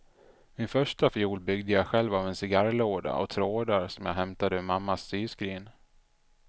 Min första fiol byggde jag själv av en cigarrlåda och trådar som jag hämtade ur mammas syskrin.